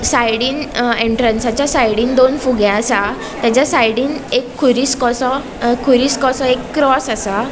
साइडीन एन्ट्रन्स च्या साइडीन दोन फुगे आसा तेचा साइडीन एक खुरिस कसो खुरिस कसो एक क्रॉस आसा.